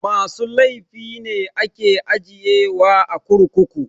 Masu laify ne ake ajiye wa a kurkuku